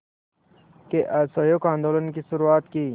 के असहयोग आंदोलन की शुरुआत की